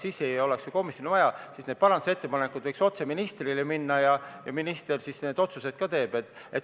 Siis ei oleks ju komisjoni vaja, parandusettepanekud võiks otse ministrile minna ja minister siis need otsused ka teeks.